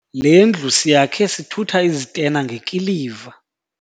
Le ndlu siyakhe sithutha izitena ngekiliva.